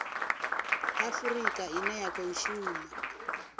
afurika ine ya khou shuma